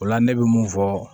O la ne bɛ mun fɔ